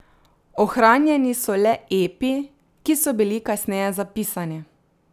Ohranjeni so le epi, ki so bili kasneje zapisani.